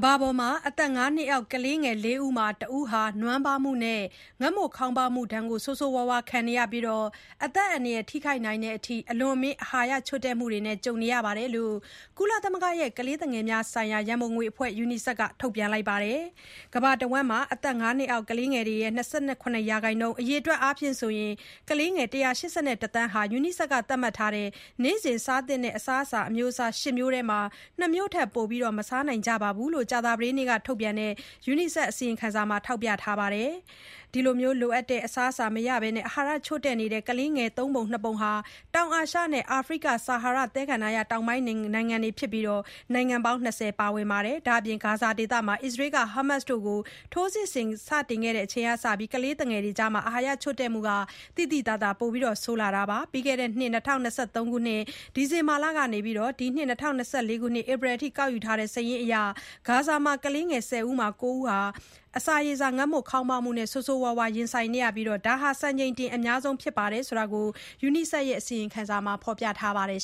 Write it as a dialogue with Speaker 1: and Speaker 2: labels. Speaker 1: ဘာပေါ်က အသက် ၅ နှစ်အောက်ကလေး ၄ ဦးမှာ ၁ ဦးက နွမ်းပါးမှုနဲ့ ငတ်မွတ်ခေါင်းပါးမှုဒဏ်ကို ဆိုးဆိုးရွားရွား ခံနေရပြီး အသက်အန္တရာယ် ထိခိုက်နိုင်တဲ့အထိ အလွန်အမင်း အာဟာရချို့တဲ့မှုနဲ့ ကြုံနေရတယ်လို့ ကုလသမဂ္ဂရဲ့ ကလေးငယ်များ ဆိုင်ရာ ရန်ပုံငွေအဖွဲ့ UNICEF က ထုတ်ပြန်ပါတယ်။ ကမ္ဘာတဝန်း အသက် ၅ နှစ်အောက် ကလေးတွေရဲ့ ၂၇% ၊ အရေအတွက် အားဖြင့် ကလေးငယ် ၁၈၁ သန်းဟာ UNICEF က သတ်မှတ်ထားတဲ့ နေ့စဉ်စားသင့်တဲ့ အစာအမျိုးအစား ၈ မျိုးထဲမှာ၊ ၂ မျိုးထက် ပို မစားနိုင်ကြဘူးလို့ ကြာသပတေးနေ့က ထုတ်ပြန်တဲ့ UNICEF က အစီရင်ခံစာထဲမှာ ထောက်ပြခဲ့ပါတယ်။ ဒီလို လိုအပ်တဲ့ အစားအစာ မရဘဲ အာဟာရချို့တဲ့နေတဲ့ ကလေးတွေရဲ့ သုံးပုံ နှစ်ပုံဟာ တောင်အာရှနဲ့ အာဖရိက ဆာဟာရ သဲကန္တာရ တောင်ပိုင်းနိုင်ငံတွေက ဖြစ်ပြီး နိုင်ငံပေါင်း ၂၀ ပါဝင်တယ်လို့ UNICEF က ဆက်ထောက်ပြခဲ့ပါတယ်။ ဒါ့အပြင် ဂါဇာဒေသမှာလည်း အစ္စရေးက ဟာမတ်စ်တွေအပေါ် ထိုးစစ်ဆင်တာတွေ စခဲ့ချိန်ကစလို့ ကလေးငယ်တွေကြား အာဟာရ ချို့တဲ့မှုက သိသိသာသာ ပိုဆိုးလာခဲ့ပါတယ်။ ပြီးခဲ့တဲ့နှစ် ၂၀၂၃ ခုနှစ် ဒီဇင်ဘာလ ကနေ ဒီနှစ် ၂၀၂၄ ခုနှစ် ဧပြီလ အထိ ကောက်ယူခဲ့တဲ့ စာရင်းအရ ဂါဇာမှာ ကလေး ၁၀ ဦးမှာ ၉ ဦး အစာရေစာ ငတ်မွတ်ခေါင်းပါးမှု ဆိုးဆိုးရွားရွား ကြုံနေရပြီး ဒါဟာ စံချိန်တင် အများဆုံးနှုန်း ဖြစ်တယ်လို့ UNICEF အစီရင်ခံစာမှာ ဖော်ပြထားပါတယ
Speaker 2: ်